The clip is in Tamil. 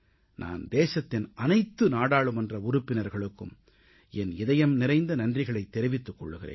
நான் தேசத்தின் அனைத்து நாடாளுமன்ற உறுப்பினர்களுக்கும் என் இதயம் நிறைந்த நன்றிகளைத் தெரிவித்துக் கொள்கிறேன்